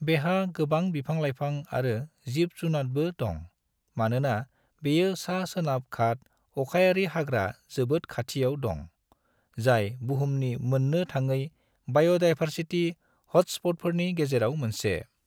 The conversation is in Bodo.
बेहा गोबां बिफां-लायफां आरो जिब जुनादबो दं मानोना बेयो सा सोनाब घाट अखायारिहाग्रा जोबोद खाथियाव दं, जाय बुहुमनि मोन्नो थाङै बाय'दायभारसिटी हॉटस्पॉटफोरनि गेजेराव मोनसे।